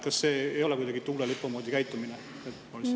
Kas see ei ole kuidagi tuulelipu moodi käitumine?